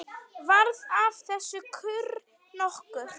Varð af þessu kurr nokkur.